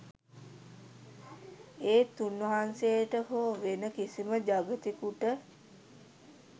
ඒත් උන්වහන්සේට හෝ වෙන කිසිම ජගතෙකුට.